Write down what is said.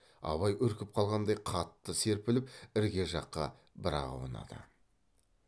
абай үркіп қалғандай қатты серпіліп ірге жаққа бір ақ аунады